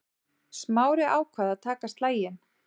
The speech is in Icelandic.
Smári ákvað að taka slaginn.